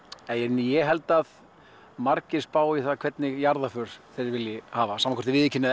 ég held að margir spái í hvernig jarðarför þeir vilji hafa sama hvort þeir viðurkenna